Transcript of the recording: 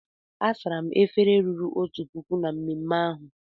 A sara m efere ruru otu puku na mmemme ahụ.